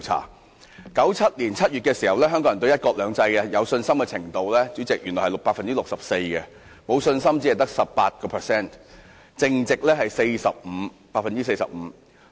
在1997年7月，香港人對"一國兩制"有信心的比率為 64%， 沒有信心的比率只得 18%， 淨值是 45%。